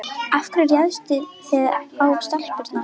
Af hverju réðust þið á stelpurnar